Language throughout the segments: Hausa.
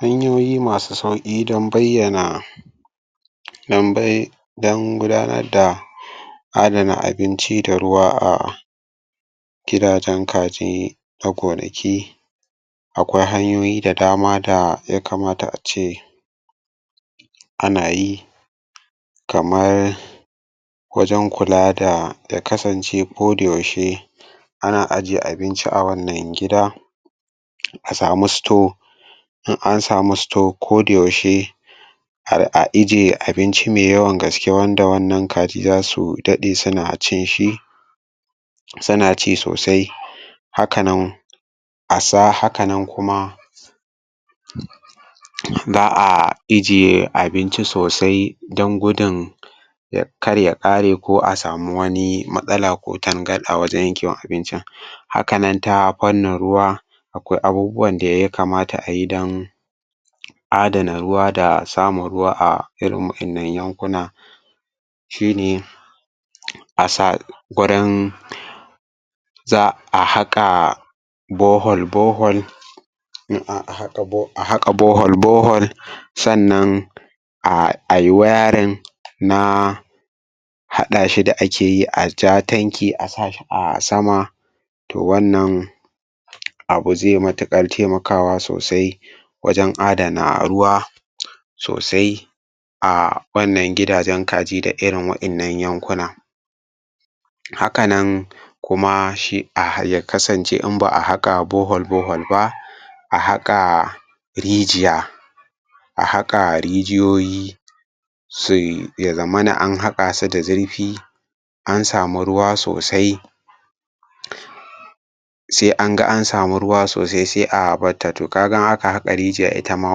Hanyoyi masu sauƙi don bayyana don bai don gudanar da adana abinci da ruwa a gidajen kaji da gonaki akwai hanyoyi da dama da yakamata a ce ana yi kamar wajen kula da ya kasance kodayaushe ana aje abinci a wannan gida a samu store in an samu store kodayaushe a ije abinci mai yawan gaske wanda wannan kaji za su dave suna cin shi suna ci sosai haka nan haka nan kuma za a ijiye abinci sosai don gudun ya karya ƙare ko a sami wani matsala ko tangarɗa wajen yankewar abincin haka nan ta fannin ruwa akwai abubuwan da ya kamata a yi don adana ruwa da samun ruwa irin wa'innan yankuna shi ne a sa gurin za a haƙa borhole borehole in an haƙa a haƙa borehaloe borehole sannan ai waring na haɗa shi da ake yi a ja tankin a sa sama to wannan abu zai matuƙar taimakawa sosai wajen adana ruwa sosai a wannan gidajen kaji da irin wa'innan yankuna haka nan shi ya kasance in ba a haƙa borehole-borehole ba a haƙa rijiya a haƙa rijiyoyi ya zamana an haƙa su da zurfi an samu ruwa sosai sai an ga an samu ruwa sosai sai a batta to ka ga in aka haƙa rijiya ita ma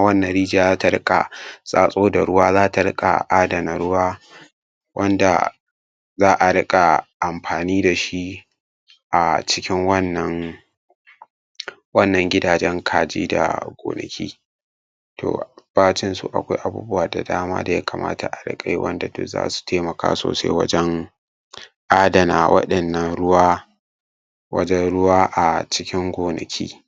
wannan rijiya za ta riƙa tsatso da ruwa za ta riƙa adana ruwa wanda za riƙa amfani da shi a cikin wannan wannan gidajen kaji da gonaki to bacin su akwai abubuwa da dama da ya kamata a riƙa yi wanda duk za su taimaka sosai wajen adana wa'innan ruwa wajen ruwa a waɗannan gonaki.